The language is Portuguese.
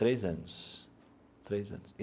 Três anos três anos.